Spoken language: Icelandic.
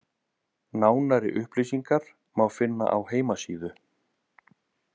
Nánari upplýsingar má finna á heimasíðu